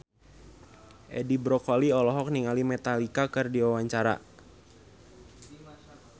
Edi Brokoli olohok ningali Metallica keur diwawancara